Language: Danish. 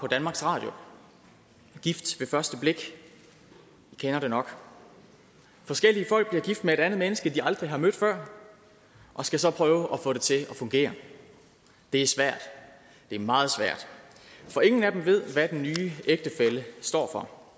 danmarks radio gift ved første blik i kender det nok forskellige folk bliver gift med et andet menneske de aldrig har mødt før og skal så prøve at få det til at fungere det er svært det er meget svært for ingen af dem ved hvad den nye ægtefælle står for